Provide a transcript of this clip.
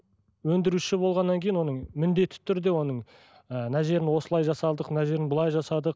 өндіруші болғаннан кейін оның міндетті түрде оның ы мына жерін осылай жасадық мына жерін былай жасадық